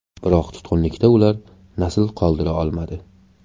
Biroq tutqunlikda ular nasl qoldira olmadi.